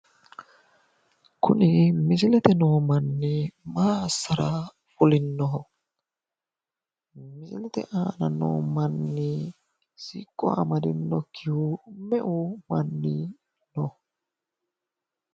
Kuni misilete aana no manni maa assara fulinnoho? Misilete aana no manni siqqo amaddinokkihu me"u manni no?